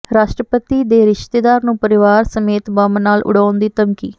ਰਾਸ਼ਟਰਪਤੀ ਦੇ ਰਿਸ਼ਤੇਦਾਰ ਨੂੰ ਪਰਿਵਾਰ ਸਮੇਤ ਬੰਬ ਨਾਲ ਉਡਾਉਣ ਦੀ ਧਮਕੀ